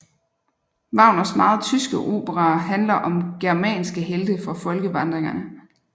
Wagners meget tyske operaer handler om germanske helte fra folkevandringerne